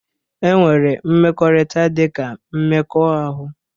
E nwere mmekọrịta dị ka mmekọahụ